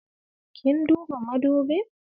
Kin duba madubin?